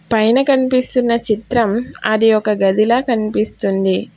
పైన కనిపిస్తున్న చిత్రం అది ఒక గదిల కనిపిస్తుంది.